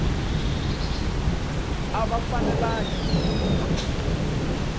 a va fanelangi ku nwa